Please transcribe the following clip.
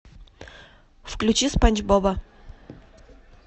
включи спанч боба